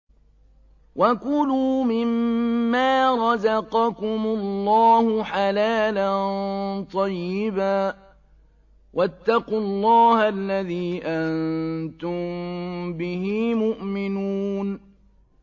وَكُلُوا مِمَّا رَزَقَكُمُ اللَّهُ حَلَالًا طَيِّبًا ۚ وَاتَّقُوا اللَّهَ الَّذِي أَنتُم بِهِ مُؤْمِنُونَ